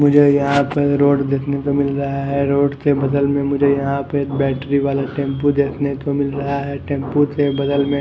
मुझे यह पर एक रोड देकने को मिल रहा है रोड के बगल में मुझे यहा बेटरी वाला टेम्पू देखन को मिल रहा है टेम्पू के बगल में--